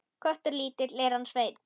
Köttur lítill er hann Sveinn.